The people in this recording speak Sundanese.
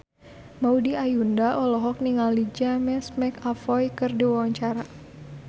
Maudy Ayunda olohok ningali James McAvoy keur diwawancara